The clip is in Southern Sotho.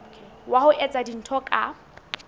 wa ho etsa dintho ka